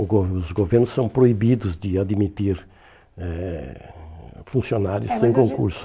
O go os governos são proibidos de admitir eh funcionários sem concurso.